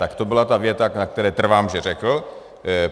Tak to byla ta věta, na které trvám, že řekl.